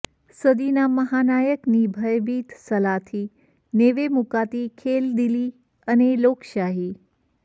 સદીના મહાનાયકની ભયભીત સલાહથી નેવે મુકાતી ખેલદિલી અને લોકશાહી